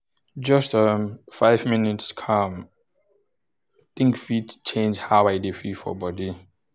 just um five minutes calm-think fit change how i dey feel for body